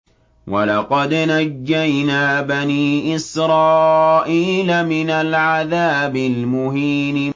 وَلَقَدْ نَجَّيْنَا بَنِي إِسْرَائِيلَ مِنَ الْعَذَابِ الْمُهِينِ